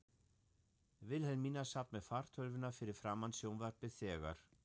Vilhelmína sat með fartölvuna fyrir framan sjónvarpið þegar